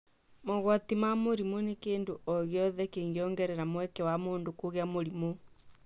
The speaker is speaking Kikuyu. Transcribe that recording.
Mogwati ma mũrimũ nĩ kĩndũ ogĩothe kĩngĩongerea mweke wa mũndũ wa kũgĩa mũrimũ